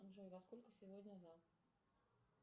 джой во сколько сегодня зам